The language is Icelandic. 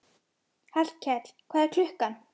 Flest efnahvörf í lifandi frumu eru hvötuð af ensímum.